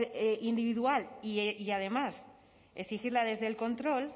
individual y además exigirla desde el control